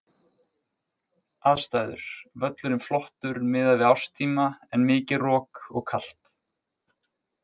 Aðstæður: Völlurinn flottur miðað við árstíma en mikið rok og kalt.